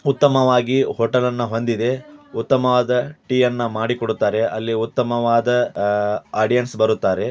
ಉತ್ತಮವಾಗಿ ಹೋಟೆಲ್ ಇದೆ ಉತ್ತಮವಾದ ಟೀ ಮಾಡಿ ಕೊಡುತ್ತಾರೆ ಅಲ್ಲಿ ಉತ್ತಮವಾದ ಆಡಿಯನ್ಸ್ ಬರುತ್ತಾರೆ.